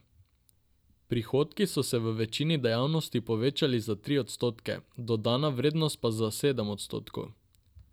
Prihodki so se v večini dejavnosti povečali za tri odstotke, dodana vrednost pa za sedem odstotkov.